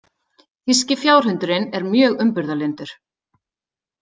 Þýski fjárhundurinn er mjög umburðarlyndur.